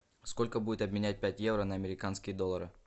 сколько будет обменять пять евро на американские доллары